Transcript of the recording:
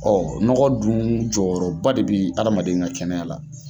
nɔgɔ dun jɔyɔrɔba de bɛ adamaden ka kɛnɛya la.